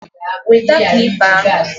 Wete klipa ahụ!